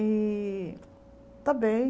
E está bem.